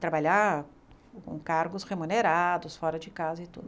trabalhar com cargos remunerados, fora de casa e tudo.